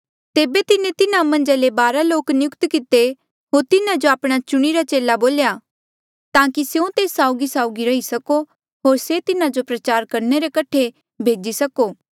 तेबे तिन्हें तिन्हा मन्झा ले बारा लोक नियुक्त किते होर तिन्हा जो आपणा चुणिरा चेला बोल्या ताकि स्यों तेस साउगीसाउगी रही सको होर से तिन्हा जो प्रचार करणे रे कठे भेजी सको